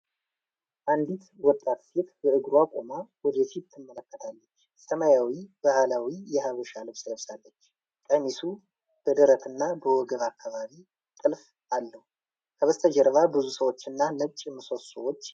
አንዲት ወጣት ሴት በእግሯ ቆማ ወደፊት ትመለከታለች። ሰማያዊ ባህላዊ የሐበሻ ልብስ ለብሳለች፤ ቀሚሱ በደረትና በወገብ አካባቢ ጥልፍ አለው። ከበስተጀርባ ብዙ ሰዎችና ነጭ ምሰሶዎች ይገኛሉ።